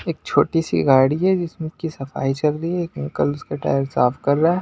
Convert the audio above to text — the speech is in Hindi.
एक छोटी सी गाड़ी है जिसमें की सफाई चल रही है एक अंकल उसका टायर साफ कर रहा --